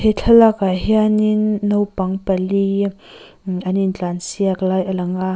thlalak ah hianin naupang pali an intlansiak lai a lang a.